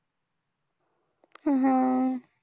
हम्म